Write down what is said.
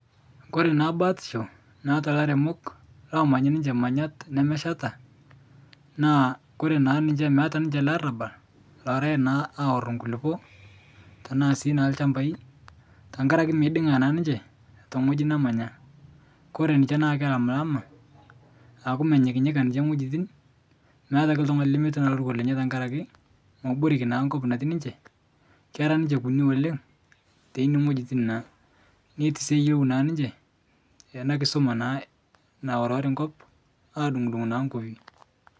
Kore naa naatisho naata laremok loomany ninche manyat nemesheta, naa kore naa niche meata ninche ale arabal lorae naa aoro kulupo tanaa sii naa lchamba, tankare ake meiding'a naa ninche teng'oji nemanya. Kore ninche naa kelamlama aku menyikinyika ninche ng'ojitin meata ake ltung'ani lemetii naa loruko lenye ntakare ake moboreki naa nkop natii ninche kera ninche kuni oleng' teine ngojitin naa netii sii eyolou naa ninche ena nkisuma naa naorori nkop adung'udung' naa nkopi.